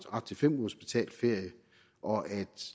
til fem ugers betalt ferie og at